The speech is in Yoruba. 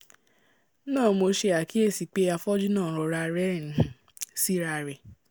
náà mo ṣe àkíyèsí pé afọ́jú náà nrọra rẹ́rìn-ín sí'ra rẹ̀